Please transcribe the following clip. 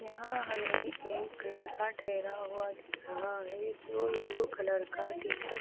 यहां हमें एक लड़का ठहरा हुआ दिख रहा है जो येलो कलर का टी शर्ट --